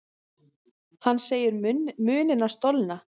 Hann segir munina stolna.